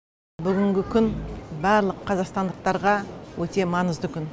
бүгінгі күн барлық қазақстандықтарға өте маңызды күн